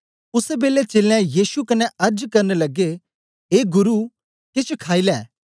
उसै बेलै चेलें यीशु कन्ने अर्ज करन लगे ए गुरु केछ खाई लै